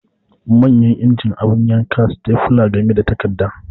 Manyan injin, abu yanka, stepler game da takarda